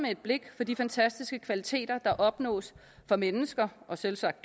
af de fantastiske kvaliteter der opnås for mennesker og selvsagt